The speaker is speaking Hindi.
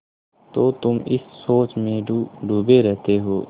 तो तुम इस सोच में डूबे रहते हो